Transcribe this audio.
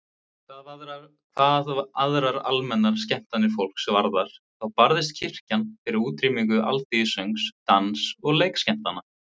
Hvað aðrar almennar skemmtanir fólks varðar þá barðist kirkjan fyrir útrýmingu alþýðusöngs, dans- og leikskemmtana.